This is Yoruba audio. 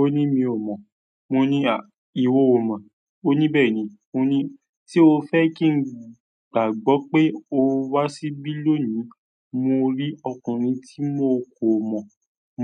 Ó ní mi ò mọ́, mo ní à ìwọ ò mọ̀. Ó ní "bẹ́ẹ̀ni", mo ní, "ṣé o fẹ́ kí n gbàgbọ́ pé o wá síbí lónìí, mo rí ọkùnrin tí mo kò mọ̀,